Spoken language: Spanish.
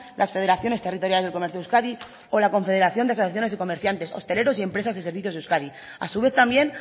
las federaciones territoriales del comercio de euskadi o la confederación de asociaciones comerciantes hosteleros y empresas de servicios de euskadi a su vez también